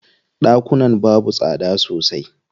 Ɗakunan babu tsada sosai.